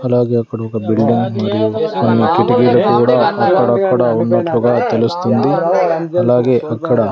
అలాగే అక్కడ ఒక బిల్డింగ్ మరియు--